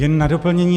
Jen na doplnění.